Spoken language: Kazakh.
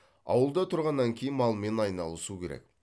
ауылда тұрғаннан кейін малмен айналысу керек